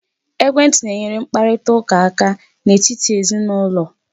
Ekwentị na-enyere mkparitaụka aka n'etiti ezinụlọ aka.